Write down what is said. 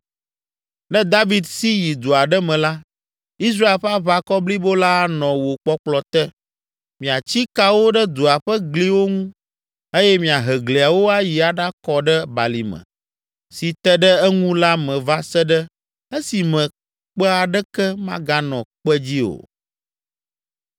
Ne David si yi du aɖe me la, Israel ƒe aʋakɔ blibo la anɔ wò kpɔkplɔ te, miatsi kawo ɖe dua ƒe gliwo ŋu eye miahe gliawo ayi aɖakɔ ɖe balime si te ɖe eŋu la me va se ɖe esime kpe aɖeke maganɔ kpe dzi o.”